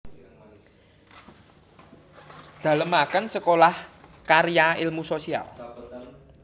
Dalemaken Sekolah Karya Ilmu Sosial